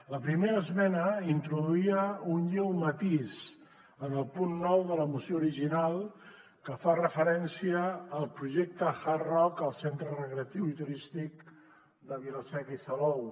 la primera esmena introduïa un lleu matís en el punt nou de la moció original que fa referència al projecte hard rock el centre recreatiu i turístic de vila seca i salou